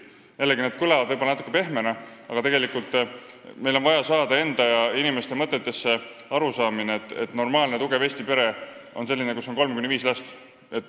See kõlab võib-olla natuke pehmena, aga meil on vaja saada enda ja teiste inimeste mõtetesse arusaamine, et normaalne ja tugev Eesti pere on selline, kus on kolm kuni viis last.